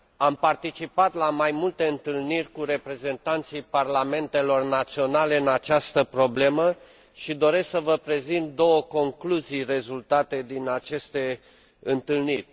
Am participat la mai multe întâlniri cu reprezentanții parlamentelor naționale în această problemă și doresc să vă prezint două concluzii rezultate din aceste întâlniri.